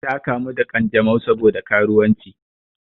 Ta kamu da ƙanjamau sabo da karuwanci.